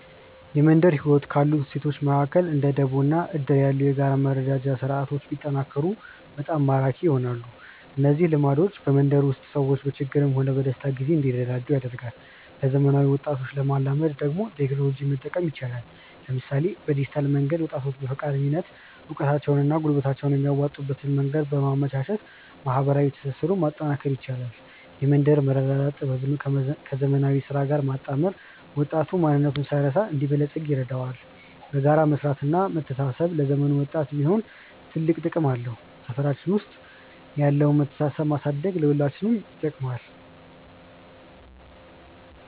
የመንደር ህይወት ካሉት እሴቶች መካከል እንደ ደቦ እና እድር ያሉ የጋራ መረዳጃ ስርዓቶች ቢጠናከሩ በጣም ማራኪ ይሆናሉ። እነዚህ ልምዶች በመንደር ውስጥ ሰዎች በችግርም ሆነ በደስታ ጊዜ እንዲረዳዱ ያደርጋሉ። ለዘመናዊ ወጣቶች ለማላመድ ደግሞ ቴክኖሎጂን መጠቀም ይቻላል፤ ለምሳሌ በዲጂታል መድረክ ወጣቶች በፈቃደኝነት እውቀታቸውንና ጉልበታቸውን የሚያዋጡበትን መንገድ በማመቻቸት ማህበራዊ ትስስሩን ማጠናከር ይቻላል። የመንደር መረዳዳት ጥበብን ከዘመናዊ ስራ ጋር ማጣመር ወጣቱ ማንነቱን ሳይረሳ እንዲበለጽግ ይረዳዋል። በጋራ መስራትና መተሳሰብ ለዘመኑም ወጣት ቢሆን ትልቅ ጥቅም አለው። ሰፈራችን ውስጥ ያለውን መተሳሰብ ማሳደግ ለሁላችንም ይጠቅማል።